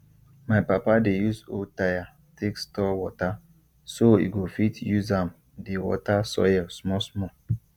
my papa dey use old tire take store water so e go fit use am dey water soil small small